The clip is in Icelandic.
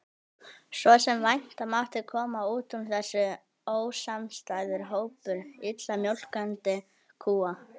Svo sem vænta mátti kom út úr þessu ósamstæður hópur illa mjólkandi kúa.